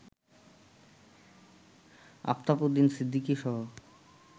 আফতাব উদ্দিন সিদ্দিকীসহ